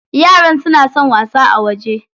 Yaran suna son wasa a waje.